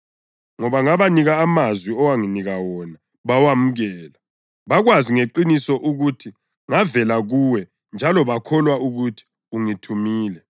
Ngoba ngabanika amazwi owanginika wona bawemukela. Bakwazi ngeqiniso ukuthi ngavela kuwe njalo bakholwa ukuthi ungithumile.